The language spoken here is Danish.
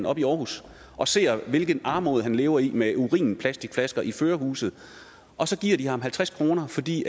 oppe i aarhus og ser hvilken armod han lever i med urinplastikflasker i førerhuset og så giver de ham halvtreds kr fordi